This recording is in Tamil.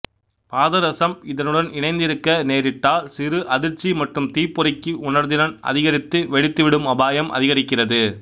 பாதரசம் இதனுடன் இணைந்திருக்க நேரிட்டால் சிறு அதிர்ச்சி மற்றும் தீப்பொறிக்கு உணர்திறன் அதிகரித்து வெடித்துவிடும் அபாயம் அதிகரிக்கிறது